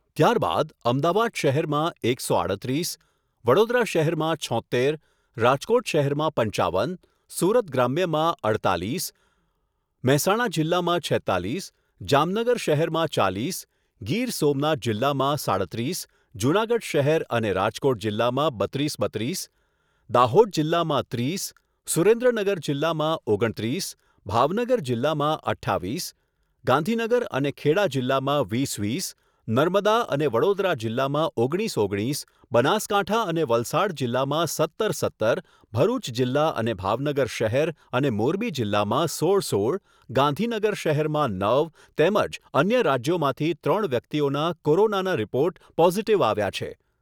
ત્યારબાદ અમદાવાદ શહેરમાં એકસો સાડત્રીસ, વડોદરા શહેરમાં છોત્તેર, રાજકોટ શહેરમાં પંચાવન, સુરત ગ્રામ્યમાં અડતાલીસ, મહેસાણા જીલ્લામાં છેત્તાલીસ, જામનગર શહેરમાં ચાલીસ, ગીર સોમનાથ જિલ્લામાં સાડત્રીસ, જૂનાગઢ શહેર અને રાજકોટ જિલ્લામાં બત્રીસ બત્રીસ, દાહોદ જિલ્લામાં ત્રીસ, સુરેન્દ્રનગર જિલ્લામાં ઓગણત્રીસ, ભાવનગર જિલ્લામાં અઠ્ઠાવીસ, ગાંધીનગર અને ખેડા જિલ્લામાં વીસ વીસ, નર્મદા અને વડોદરા જિલ્લામાં ઓગણીસ ઓગણીસ, બનાસકાંઠા અને વલસાડ જિલ્લામાં સત્તર સત્તર, ભરૂચ જિલ્લા અને ભાવનગર શહેર અને મોરબી જિલ્લામાં સોળ સોળ, ગાંધીનગર શહેરમાં નવ તેમજ અન્ય રાજ્યોમાંથી ત્રણ વ્યક્તિઓના કોરોનાના રિપોર્ટ પોઝીટીવ આવ્યા છે.